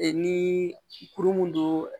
ni kuru mun don